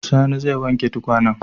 Sani zai wanke tukwanen.